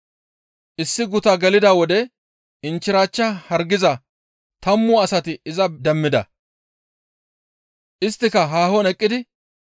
Issi guta gelida wode inchchirachcha hargiza tammu asati iza demmida. Isttika haahon eqqidi